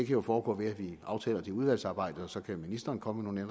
jo foregå ved at vi aftaler det i udvalgsarbejdet og så kan ministeren komme med